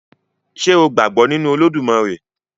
Ṣé o gbàgbọ́ nínu Olódùmarè?